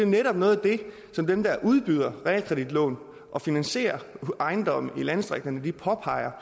netop noget af det som dem der udbyder realkreditlån og finansierer ejendomme i landdistrikterne påpeger